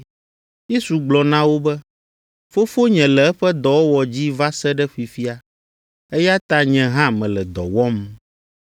Yesu gblɔ na wo be, “Fofonye le eƒe dɔwɔwɔ dzi va se ɖe fifia, eya ta nye hã mele dɔ wɔm.”